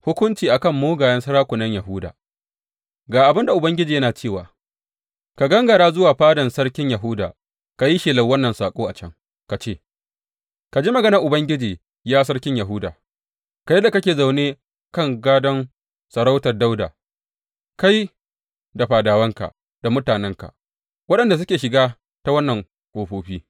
Hukunci a kan mugayen sarakunan Yahuda Ga abin da Ubangiji yana cewa, Ka gangara zuwa fadan sarkin Yahuda ka yi shelar wannan saƙo a can ka ce, Ka ji maganar Ubangiji, ya sarkin Yahuda, kai da kake zaune kan gadon sarautar Dawuda, kai, da fadawanka da mutanenka waɗanda suke shiga ta waɗannan ƙofofi.